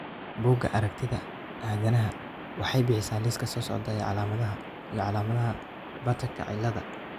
Bugga Aragtiyaha Aanadanaha waxay bixisaa liiska soo socda ee calaamadaha iyo calaamadaha Bartterka ciladaha.